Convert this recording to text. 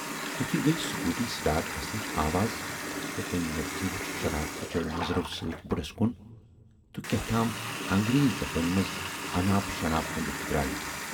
تِتھُے گٔیہِ سکوٗٹی سِٹاٹ گژھنٕچ آواز تہٕ تمٔۍ لڑکی وُچھ شرارتہٕ چٮ۪و نظرو سۭتۍ بُڈس کُن تہٕ کیاہتام انگریزی زبٲنۍ منز اناپ شناپ ؤنِتھ درا یہِ۔